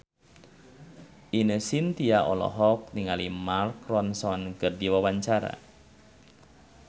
Ine Shintya olohok ningali Mark Ronson keur diwawancara